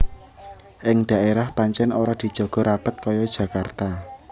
Ing daérah pancèn ora dijaga rapet kaya Jakarta